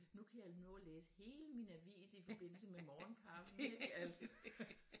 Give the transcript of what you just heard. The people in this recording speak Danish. Nu kan jeg nå at læse hele min avis i forbindelse med morgenkaffen ikke altså